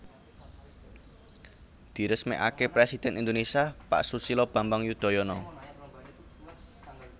Diresmekake Presiden Indonesia Pak Susilo Bambang Yudhoyono